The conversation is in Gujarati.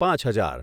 પાંચ હજાર